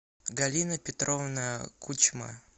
галина петровна кучма